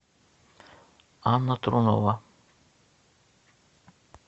анна тронова